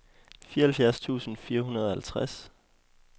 fireoghalvfjerds tusind fire hundrede og halvtreds